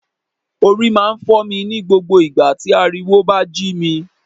Orí máa ń fọ́ mi ní gbogbo ìgbà tí ariwo bá jí mi